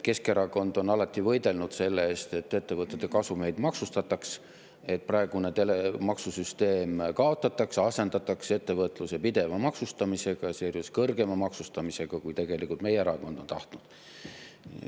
Keskerakond on alati võidelnud selle eest, et ettevõtete kasumeid maksustataks, et praegune maksusüsteem kaotataks ja asendataks ettevõtluse pideva maksustamisega, sealjuures kõrgema maksustamisega, kui tegelikult meie erakond on tahtnud.